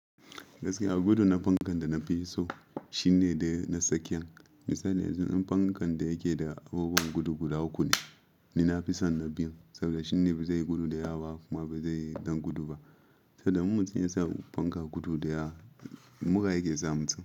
Gaskiya gudu na fankan da na fi so shine na tsakiyan. Misali yanzu in fankan da yake da abubuwan gudu guda uku ne, ni na fi son na biyun saboda shi ne bai zai yi gudu da yawa ba kuma bai zai dan gudu ba. Saboda in mutum yasa fanka gudu da ya mura yake zamu tsinka.